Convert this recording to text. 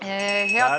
Head kolleegid!